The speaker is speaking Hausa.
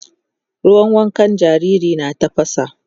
ruwan wankan jariri na tafasa